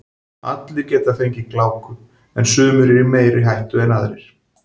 Allir geta fengið gláku en sumir eru í meiri hættu en aðrir.